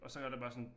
Og så er der bare sådan